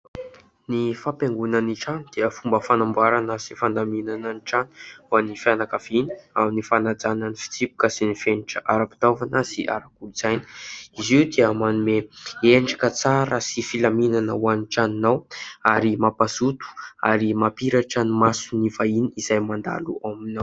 Ny fampiaingona ny trano dia fomba fanamboarana sy fandaminana ny trano ho any fianakaviana amin'ny fanajana ny fitsipika sy ny fenitra ara-pitaovana sy ara-kolontsaina. Izy io dia manome endrika tsara sy filaminana ho any tranonao ary mampahazoto ary mampamiratra ny masony vahiny izay mandalo ao aminao.